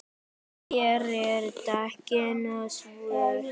Það gerir dekkin svört.